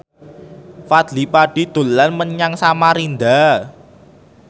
Fadly Padi dolan menyang Samarinda